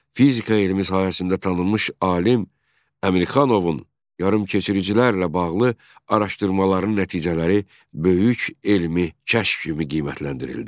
Fizika elmi sahəsində tanınmış alim Əmirxanovun yarımkeçiricilərlə bağlı araşdırmaların nəticələri böyük elmi kəşf kimi qiymətləndirildi.